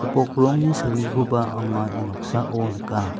gipok rongni salgikoba anga ia noksao nika.